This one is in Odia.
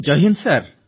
ଜୟ ହିନ୍ଦ୍ ସାର୍